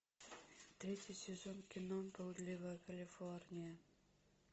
третий сезон кино блудливая калифорния